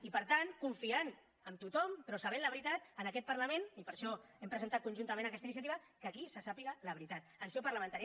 i per tant confiant en tothom però sabent la veritat en aquest parlament i per això hem presentat conjuntament aquesta iniciativa que aquí se sàpiga la veritat en seu parlamentària